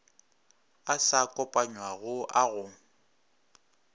a sa kopanywago a go